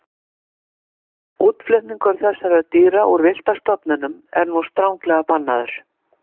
Útflutningur þessara dýra úr villta stofninum er nú stranglega bannaður.